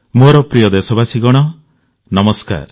ମୋର ପ୍ରିୟ ଦେଶବାସୀଗଣ ନମସ୍କାର